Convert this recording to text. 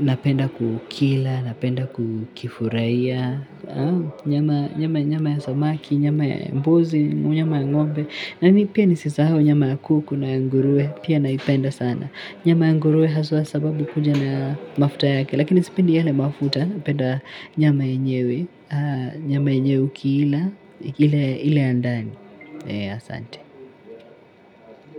napenda kukila, napenda kukifurahia, nyama nyama ya samaki, nyama ya mbuzi, nyama ya ng'ombe. Na ni pia ni sisahau nyama ya kuku na ya nguruwe, pia naipenda sana. Nyama ya nguruwe haswa sababu kuja na mafuta yake. Lakini sipendi yale mafuta napenda nyama yenyewe. Nyama yenyewe ukiila, ile ile ya ndani asante.